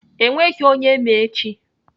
Enweghị onye ma echi.